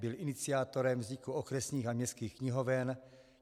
Byl iniciátorem vzniku okresních a městských knihoven.